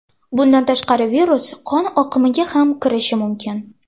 Bundan tashqari virus qon oqimiga ham kirishi mumkin.